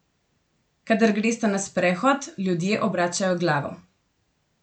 Kadar gresta na sprehod, ljudje obračajo glavo.